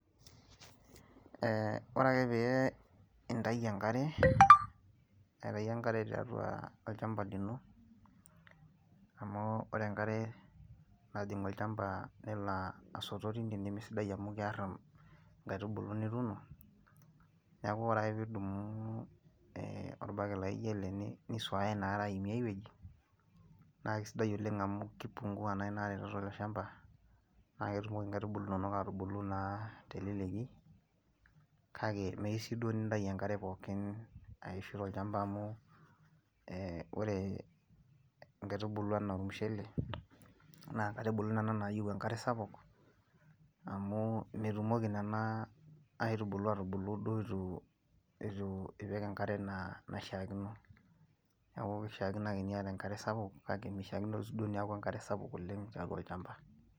Ore ake peyie intau enkare, aitau enkare tiatua olchamba liino, amuu ore enkare najing' olchamba nelo asoto tiine nemesidai amuu kiarr inkaitubulu nituuno, niaku ore ake pee idumu orbaket laijo ele nisuaya ina are aimie ae wueji, naa kasidai oleng' amuu keipungua naa inaare tiatua iilo shamba, naa ketumoki inkaitubulu inonok atubulu naa teleleki, kake meyieu siiduo nintau enkare pookin aishu tolchamba amuu oore inkaitubulu enaa ormushele, naa inkaitubulu nna nayieu enkare sapuk, amuu metumoki nena aitubyulu atubulu duo eitu, eitu ipik enkare enaa enaishiakino. Niaku keishiakino aake niata enkare sapuk kake meishiakino duo aake niaku enkare sapuk oleng tiatua olchamba.